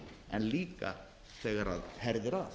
en líka þegar herðir að